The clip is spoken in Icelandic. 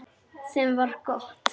Sem var gott.